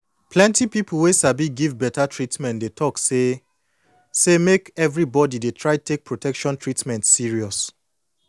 plenty pipu wey sabi give beta treatment dey talk say say make everybody dey try take protection treatment serious